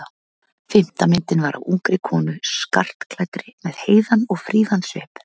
Fimmta myndin var af ungri konu skartklæddri með heiðan og fríðan svip.